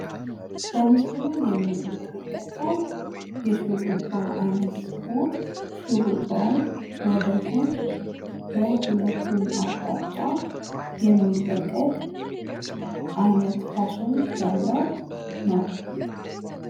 በምስሉ ላይ የምንመለከተው የሹርባ አይነት ሲሆን ሹርባው ወደጎን በሁለቱም አቅጣጫ የሚለቀቅ አይነት ፋሽን ያለው ነው።